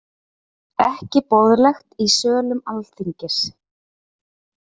Ekki boðlegt í sölum Alþingis